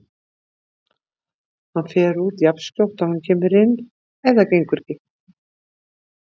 Hann fer út jafnskjótt og hann kemur inn ef þetta gengur ekki.